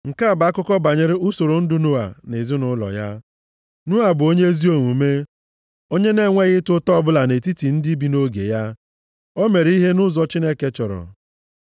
Nke a bụ akụkọ banyere usoro ndụ Noa na ezinaụlọ ya. Noa bụ onye ezi omume. Onye na-enweghị ịta ụta ọbụla nʼetiti ndị bi nʼoge ya. O mere ihe nʼụzọ Chineke chọrọ ya.